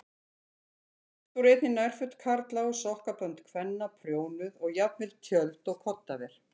Oft voru einnig nærföt karla og sokkabönd kvenna prjónuð og jafnvel tjöld og koddaver.